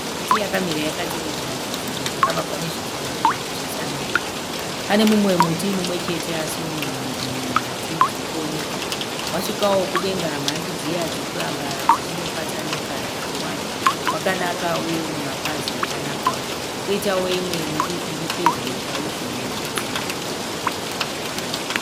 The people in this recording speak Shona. Miti yakamira yakatevedza chidziro chakavakwa nezvidhinha zvirefu zvesamende. Pane muti umwechete asi une mhandi nhatu dzirikuoneka. Wasvika mudenga mhandi dziye dzinoramba dzichipatsanuka dzichiwanda, wakanaka uye une mapazi akanaka. Poitawo imwe midiki iri padyo chaizvo nechidziro.